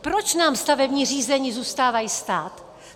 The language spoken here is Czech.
Proč nám stavební řízení zůstávají stát?